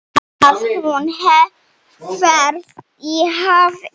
Að hún hverfi í hafið.